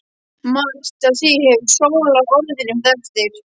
Margt af því hefur Sóla orðrétt eftir.